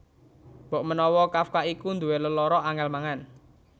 Mbokmenawa Kafka iku nduwé lelara angèl mangan